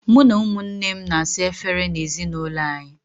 Mụ na ụmụnne m na-asa efere n'ezinaụlọ anyị.